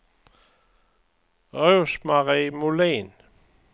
Rose-Marie Molin